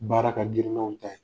Baara ka girin n'anw ta ye.